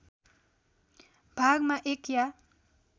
भागमा एक या